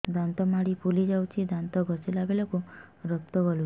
ଦାନ୍ତ ମାଢ଼ୀ ଫୁଲି ଯାଉଛି ଦାନ୍ତ ଘଷିଲା ବେଳକୁ ରକ୍ତ ଗଳୁଛି